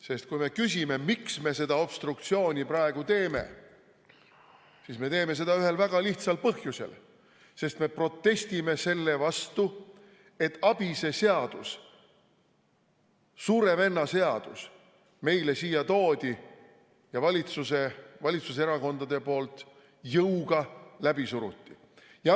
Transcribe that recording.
Sest kui me küsime, miks me seda obstruktsiooni praegu teeme, siis me teeme seda ühel väga lihtsal põhjusel: me protestime selle vastu, et ABIS-e seadus, Suure Venna seadus meile siia toodi ja valitsuserakondade poolt jõuga läbi suruti.